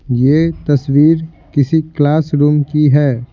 यह तस्वीर किसी क्लासरूम की है।